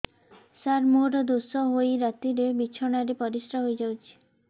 ସାର ମୋର ଦୋଷ ହୋଇ ରାତିରେ ବିଛଣାରେ ପରିସ୍ରା ହୋଇ ଯାଉଛି